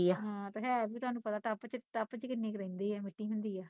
ਹਾਂ ਤੇ ਹੈ ਵੀ ਤੁਹਾਨੂੰ ਪਤਾ ਟਪ ਚ ਟਪ ਚ ਕਿੰਨੀ ਕੁ ਰਹਿੰਦੀ ਐ ਮਿੱਟੀ ਹੁੰਦੀ ਆ